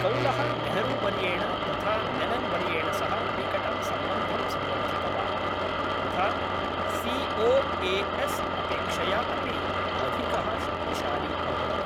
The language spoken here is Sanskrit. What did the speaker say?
कौलः नेहरूवर्येण तथा मेनन्वर्येण सह निकटं सम्बन्धं संवर्धितवान्, तथा सी ओ ए एस् अपेक्षया अपि अधिकः शक्तिशाली अभवत्।